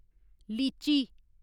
लीची